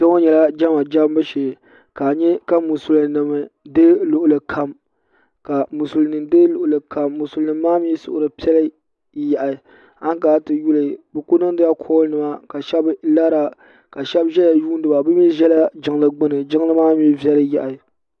Kpe ŋo nyɛla jema jembu shee ka a nye ka musulinima deegi luɣuli kam musulinima maa mi suhuri piɛli yaɣi ankana ti yuli bɛ ku niŋdila kooli nima ka shɛba lara ka shɛba zaya yuuni ba bɛ mi zala jiŋli gbini jiŋli maa mi viɛli yaɣi.